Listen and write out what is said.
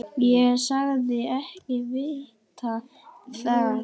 Ég sagðist ekki vita það.